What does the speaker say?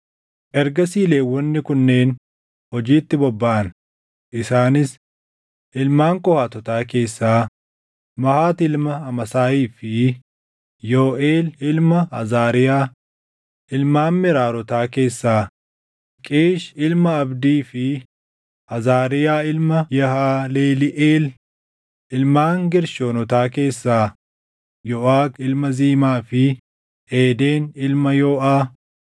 Ergasii Lewwonni kunneen hojiitti bobbaʼan; isaanis: Ilmaan Qohaatotaa keessaa, Mahat ilma Amaasaayii fi Yooʼeel ilma Azaariyaa; ilmaan Meraarotaa keessaa, Qiish ilma Abdii fi Azaariyaa ilma Yehaleliʼeel; ilmaan Geershoonotaa keessaa, Yooʼak ilma Zimaa fi Eeden ilma Yooʼaa;